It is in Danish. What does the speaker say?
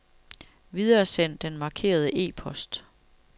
Videresend den markerede e-post.